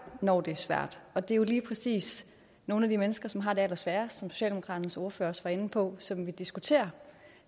når det er svært og det er jo lige præcis nogle af de mennesker som har det allersværest som socialdemokratiets ordfører også var inde på og som vi diskuterer